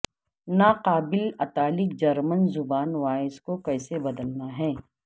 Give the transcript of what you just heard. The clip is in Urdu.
ناقابل اطالق جرمن زبان وائس کو کیسے بدلنا ہے